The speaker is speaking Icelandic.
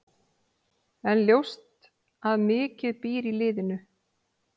En ljóst að mikið býr í liðinu.